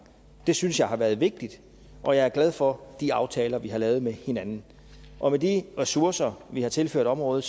det synes jeg har været vigtigt og jeg er glad for de aftaler vi har lavet med hinanden og med de ressourcer vi har tilført området